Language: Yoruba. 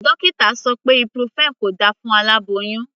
Dókítà sọ pé ibuprofen kò da fún aláboyún.